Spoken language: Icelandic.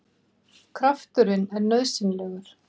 Krafturinn er nauðsynlegur!